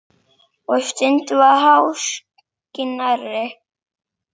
Og stundum var háskinn nærri.